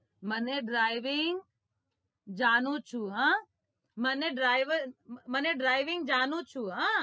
મને driving જાણું છુ હા મને driving જાણું છુ હા